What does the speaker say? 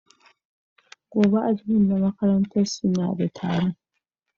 Gobe ​​admin na makaranta su na de taro